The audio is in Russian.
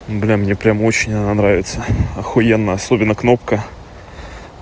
блин мне прямо очень она нравится ахуенно особенно кнопка